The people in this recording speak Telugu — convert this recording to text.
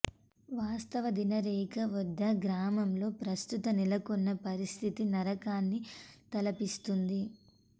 వాస్తవాధీన రేఖ వద్ద గ్రామాల్లో ప్రస్తుతం నెలకొన్న పరిస్థితి నరకాన్ని తలపిస్తోంది